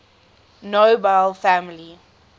nobel family